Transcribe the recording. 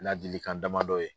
Ladilikan damadɔ ye.